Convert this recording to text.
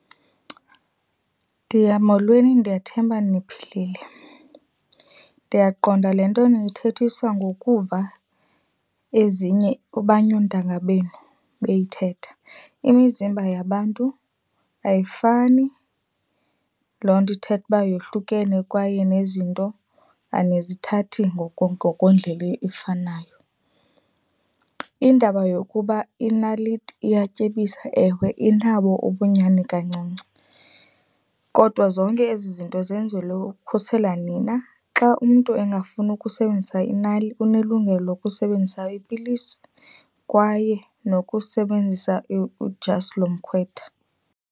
molweni. Ndiyathemba niphilile, ndiyaqonda le nto niyithethiswa ngokuva abanye oontanga benu beyithetha. Imizimba yabantu ayifani, loo nto ithetha uba yahlukene kwaye nezinto anizithathi ngokwendlela efanayo. Indaba yokuba inaliti iyatyebisa ewe inabo ubunyani kancinci. Kodwa zonke ezi zinto zenzelwe ukukhusela nina, xa umntu engafuni ukusebenzisa inaliti unelungelo ukusebenzisa ipilisi kwaye nokusebenzisa udyasi lomkhwetha.